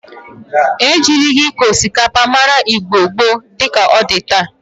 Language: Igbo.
Ejirigi ịkọ osikapa mara Igbo gboo di ka ọ dị taa.